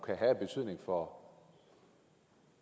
have af betydning for